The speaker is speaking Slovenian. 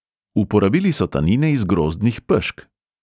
Uporabili so tanine iz grozdnih pešk.